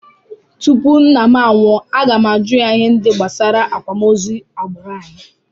Tupu nna m anwụọ, aga m ajụ ya ihe ndị gbasara akwamozu agbụrụ anyị